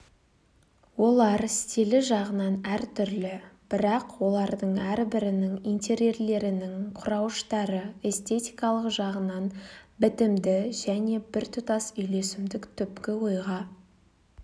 олар стилі жағынан әр түрлі бірақ олардың әрбірінің интерьерлерінің құрауыштары эстетикалық жағынан бітімді және біртұтас үйлесімдік түпкі ойға